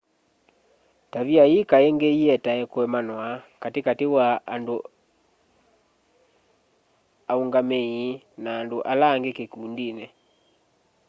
tavia ii kaingi ietae kuemanwa kati kati wa aungamii na andu ala angi kikundini